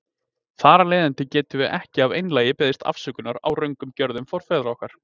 Þar af leiðandi getum við ekki af einlægni beðist afsökunar á röngum gjörðum forfeðra okkar.